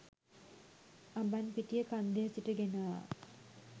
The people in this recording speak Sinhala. අඹන්පිටිය කන්දේ සිට ගෙන ආ